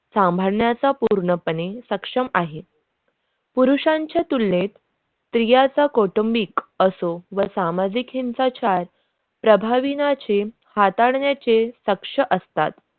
सांभाळण्याच्या पूर्णपणे सक्षम आहे पुरुषांच्या तुलनेत स्त्रियांच्या कुटुंबिक असो व सामाजिक हिंसाचार प्रभावीन्या चे हाताळण्याचे शक्य असतात.